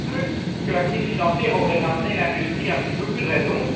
On aurait cru que la crise financière aurait ramené l'industrie à un petit peu plus de raison